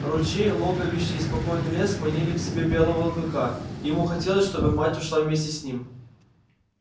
ручей логовище и спокойный лес манили к себе белого клыка и ему хотелось чтобы мать ушла вместе с ним